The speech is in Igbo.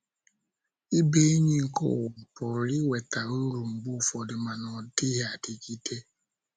Ịbụ enyi nke ụwa pụrụ iweta uru mgbe ụfọdụ, mana ọ dịghị adịgide.